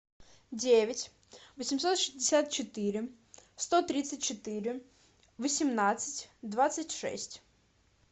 девять восемьсот шестьдесят четыре сто тридцать четыре восемнадцать двадцать шесть